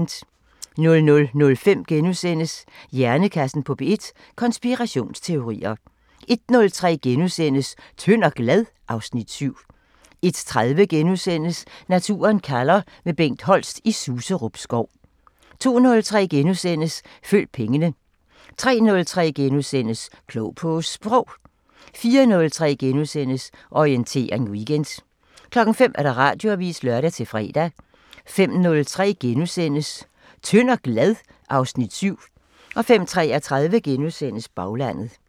00:05: Hjernekassen på P1: Konspirationsteorier * 01:03: Tynd og glad? (Afs. 7)* 01:30: Naturen kalder – med Bengt Holst i Suserup Skov * 02:03: Følg pengene * 03:03: Klog på Sprog * 04:03: Orientering Weekend * 05:00: Radioavisen (lør-fre) 05:03: Tynd og glad? (Afs. 7)* 05:33: Baglandet *